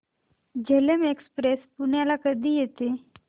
Jhelum express पुण्याला कधी येते